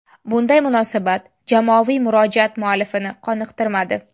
Bunday munosabat jamoaviy murojaat muallifini qoniqtirmadi.